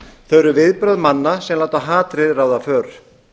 þau eru viðbrögð manna sem láta hatrið ráða för